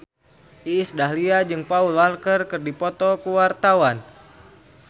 Iis Dahlia jeung Paul Walker keur dipoto ku wartawan